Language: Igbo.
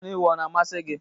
Anụ ewu ọ na-amasị gị?